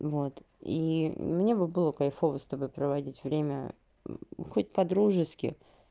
вот и мне бы было кайфово с тобой проводить время хоть по-дружески